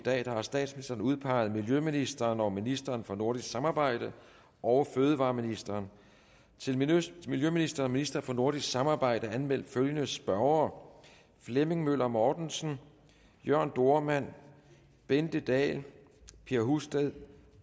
i dag har statsministeren udpeget miljøministeren og ministeren for nordisk samarbejde og fødevareministeren til miljøministeren og ministeren for nordisk samarbejde er anmeldt følgende spørgere flemming møller mortensen jørn dohrmann bente dahl per husted